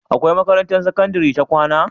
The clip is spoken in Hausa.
Akwai makarantar sakandari ta kwAna?